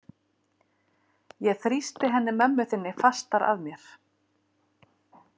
Ég þrýsti henni mömmu þinni fastar að mér.